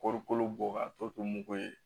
Kɔɔri kolo bɔ ka to to mugu ye